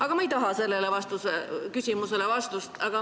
Aga ma ei taha sellele küsimusele vastust.